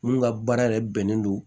Mun ka baara yɛrɛ bɛnen don